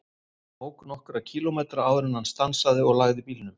Hann ók nokkra kílómetra áður en hann stansaði og lagði bílnum.